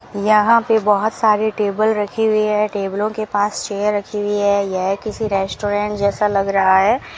यहां पे बहुत सारे टेबल रखी हुई है टेबलों के पास चेयर रखी हुई है यह किसी रेस्टोरेंट जैसा लग रहा है।